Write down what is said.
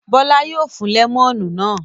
Bọ́lá yóò fún lẹ́mọ́nù náà.